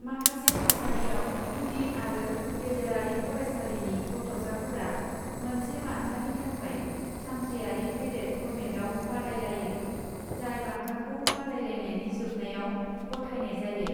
माखासे थासारियाव, गुदि आरो गेजेरारि फरायसालिनि गथ'साफोरा मोनसे बान्थानि थाखाय सानथ्रियारि पेरेद फर्मेटआव बादायलायो, जाय बान्थाखौ बादायलायनायनि जोबनायाव गथायनाय जायो।